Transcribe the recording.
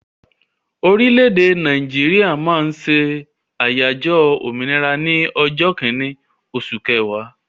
Orílẹ̀-èdè Nàìjíríà máa ń ṣe àyájọ́ òmìnira ní ọjọ́ kínní oṣù ọ̀wàrà.